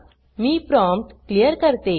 मी prompt clear करते